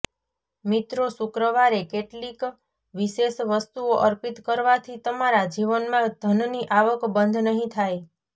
મિત્રો શુક્રવારે કેટલીક વિશેષ વસ્તુઓ અર્પિત કરવાથી તમારા જીવનમાં ધનની આવક બંધ નહીં થાય